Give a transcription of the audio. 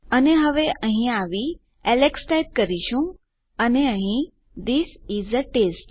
અને હવે અહીં આવી એલેક્સ ટાઈપ કરીશું અને અહીં થિસ ઇસ એ ટેસ્ટ